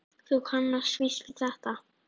Þú kannast víst við þetta!